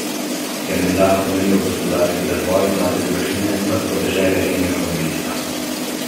Ker menda hromijo gospodarski razvoj, mlade družine pa s podeželja rinejo v mesta.